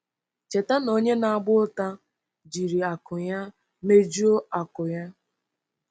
Cheta na onye na-agba ụta “jiri akụ ya mejuo akụ́ ya”.